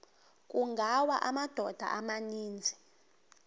kungawa amadoda amaninzi